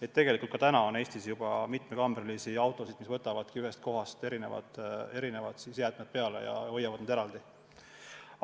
Aga tegelikult on Eestis mitmekambrilisi autosid, kes võtavad ühest kohast erinevad jäätmed peale ja hoiavad need eraldi.